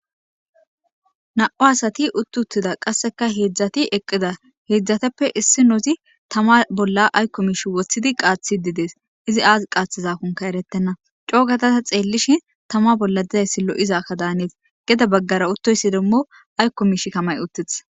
na7u asati utt uttida qasseka heedzdzati eqqida heedzdzateppe issi nozi tama bolla aykko mish woththidi qaathi didees izi aaz qaathizakonka erettenna coogatata xeellishin tama bolla dizayssi lo7izakka daanees geda baggara uttoysi demmo aykko mish kamay uttith